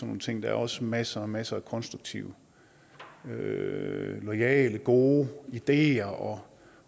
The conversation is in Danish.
nogle ting der er også masser masser af konstruktive loyale og gode ideer og